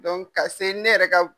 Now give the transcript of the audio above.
Donku ka se ne yɛrɛ ka